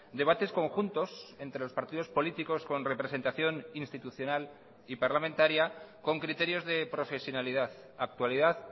debates conjuntos entre los partidos políticos con representación institucional y parlamentaria con criterios de profesionalidad actualidad